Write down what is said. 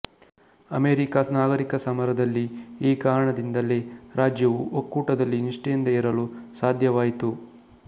America ನಾಗರೀಕ ಸಮರದಲ್ಲಿ ಈ ಕಾರಣದಿಂದಲ್ಲೇ ರಾಜ್ಯವು ಒಕ್ಕೂಟದಲ್ಲಿ ನಿಷ್ಠೆಯಿಂದ ಇರಲು ಸಾಧ್ಯವಾಯಿತು